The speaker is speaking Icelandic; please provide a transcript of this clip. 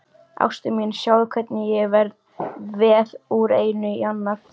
Ástin mín, sjáðu hvernig ég veð úr einu í annað.